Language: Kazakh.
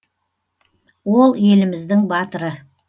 ол еліміздің батыры